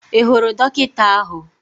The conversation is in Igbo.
Ị hụrụ dọkịta ahụ?